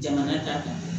Jamana ta kan